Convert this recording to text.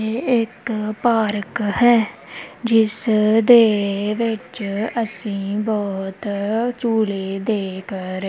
ਇਹ ਇੱਕ ਪਾਰਕ ਹੈ ਜਿਸ ਦੇ ਵਿੱਚ ਅਸੀਂ ਬਹੁਤ ਝੂਲੇ ਦੇਖ ਰ--